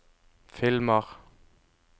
filmer